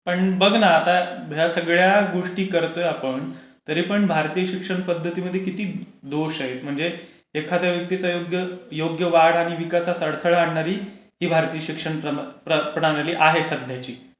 पण बघ न आता या सगळ्या गोष्टी करतोय आपण. तरीपण भारतीय शिक्षण पध्दतीमध्ये आपण पण किती दोष आहेत म्हणजे एखाद्या व्यक्तीच्या योग्य वाढ आणि विकास यात अडथळा आणणारी भारतीय शिक्षण प्रणाली आहे सध्याची कारण भारतीय शिक्षण Voice not clear मार्किंग आणि ग्रेडिंग सिस्टम...